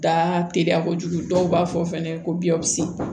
Da teliya kojugu dɔw b'a fɔ fɛnɛ ko biyanwsi